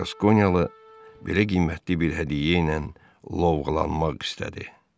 "Qaskonyalı, belə qiymətli bir hədiyyə ilə lovğalanmaq istədi?"